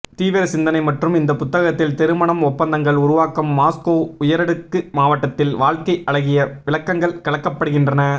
தீவிர சிந்தனை மற்றும் இந்த புத்தகத்தில் திருமணம் ஒப்பந்தங்கள் உருவாக்கம் மாஸ்கோ உயரடுக்கு மாவட்டத்தில் வாழ்க்கை அழகிய விளக்கங்கள் கலக்கப்படுகின்றன